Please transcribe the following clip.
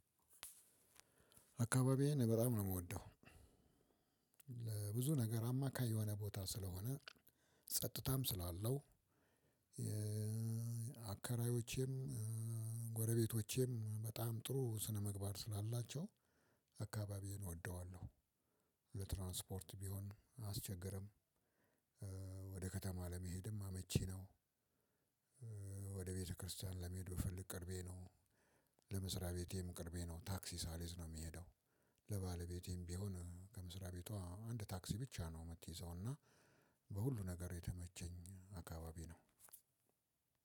አካባቢዬን በጣም ነው የምወደው ለብዙ ነገር አማካይ የሆነ ቦታ ስለሆነ፣ ጸጥታም ስላለው፣ አከራዮቼም ጎረቤቶቼም በጣም ጥሩ ስነምግባር ስላላቸው አካባቢዬን እወደዋለሁ። ቢሆን አያስቸገረም፣ ወደ ከተማ ለመሄድም አመቺ ነው፣ ወደ ቤተክርስቲያን ለመሄድ ብፈልግ ቅርቤ ነው ለመስሪያ ቤቴም ቅርቤ ነው ታክሲ ሳልይዝ ነው የሚሄደው ለባለቤቴም ቢሆን ከመስራቤቷ አንድ ታክሲ ብቻ ነው የምትይዘው እና በሁሉ ነገር የተመቸኝ አካባቢ ነው።